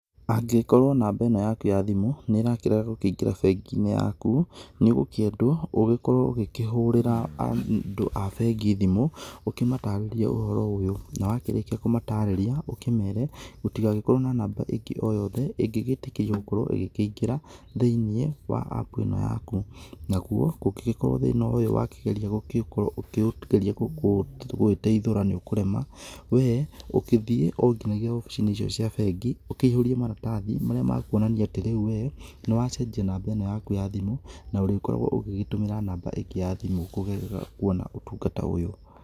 Angĩkorwo namba ĩno yaku ya thimũ nĩ ĩrakĩrega gũkĩingĩra bengi-inĩ yaku, nĩ ũgũkĩendwo ũgĩkorwo ũgĩkĩhũrĩra andũ a bengi thimũ, ũkĩmatarĩria ũhoro ũyũ, na wakĩrĩkia kũmatarũria ũkĩmere gũtigagĩkorwo na namba ĩngĩ o yothe, ĩngĩgĩtĩkĩrio gũkorwo ĩgĩkĩingĩra thĩ-inĩ wa appu ĩno yaku, naguo kũngĩgĩkorwo thĩna ũyũ wakĩgeria gũgĩkorwo ũkĩũgeria gũgĩteithũra nĩ ũkũrema, we, ũgĩthiĩ o nginyagia obici-inĩ icio cia bengi, ũkĩihũrie maratathi marĩa ma kuonania atĩ rĩu we, nĩ wacenjia namba ĩno yaku ya thimũ na ũrĩkoragwo ũgĩtũmĩra namba ĩngĩ ya thimũ kũgerera kuona ũtungata ũyũ.